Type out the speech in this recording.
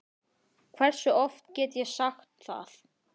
Hversu oft get ég sagt það?